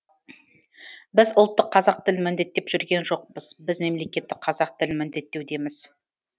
біз ұлттық қазақ тілін міндеттеп жүрген жоқпыз біз мемлекеттік қазақ тілін міндеттеудеміз